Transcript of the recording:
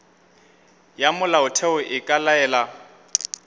ya molaotheo e ka laela